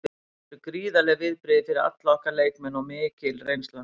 Þetta eru gríðarleg viðbrigði fyrir alla okkar leikmenn og mikil reynsla.